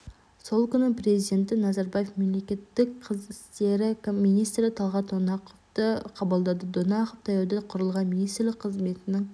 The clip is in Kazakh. сол күні президенті назарбаев мемлекеттік қызмет істері министрі талғат донақовты қабылдады донақов таяуда құрылған министрлік қызметінің